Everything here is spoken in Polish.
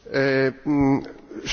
Szanowna Pani Poseł!